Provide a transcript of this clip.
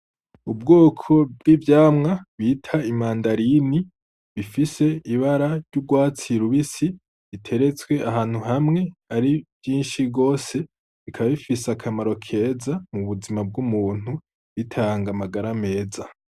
Ubwoko bw'ivyamwa bita imandarini, bifise ibara ry'urwatsi rubisi, biteretswe ahantu hamwe ari vyinshi gose bikaba bifise akamaro keza mu buzima bw'umuntu, bitanga amagara meza.